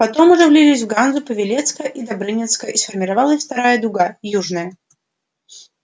потом уже влились в ганзу павелецкая и добрынинская и сформировалась вторая дуга южная